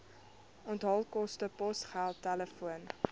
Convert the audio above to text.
onthaalkoste posgeld telefoon